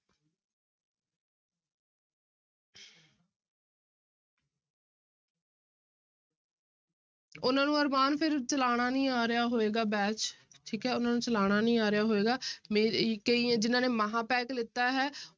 ਉਹਨਾਂ ਨੂੰ ਅਰਮਾਨ ਫਿਰ ਚਲਾਉਣਾ ਨੀ ਆ ਰਿਹਾ ਹੋਏਗਾ batch ਠੀਕ ਹੈ ਉਹਨਾਂ ਨੂੰ ਚਲਾਉਣਾ ਨੀ ਆ ਰਿਹਾ ਹੋਏਗਾ ਕਈ ਹੈ ਜਿਹਨਾਂ ਨੇ ਮਹਾਂਪੈਕ ਲਿੱਤਾ ਹੇ